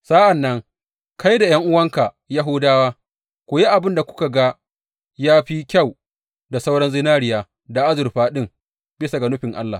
Sa’an nan kai da ’yan’uwanka Yahudawa ku yi abin da kuka ga ya fi kyau da sauran zinariya da azurfa ɗin bisa ga nufin Allah.